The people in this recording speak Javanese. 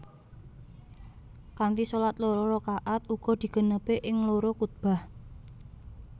Kanthi shalat loro raka at uga digenepi ing loro khuthbah